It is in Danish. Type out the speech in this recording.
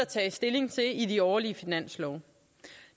tages stilling til i de årlige finanslove